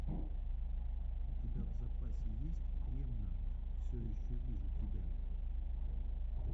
у тебя в запасе есть ремнант все еще вижу тебя